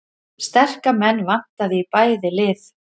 Sterka menn vantaði í bæði lið